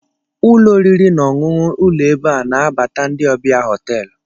Ụlọ oriri na ọṅụṅụ ụlọEbe a na-anabata ndị ọbia hoteelụ